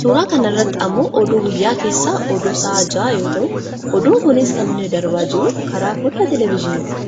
Suuraa kana irratti ammoo oduu guyyaa keessaa oduu sa'a jahaa yoo ta'u, oduun kunis kan inni darbaa jiru karaa fooddaa televejiiniiti.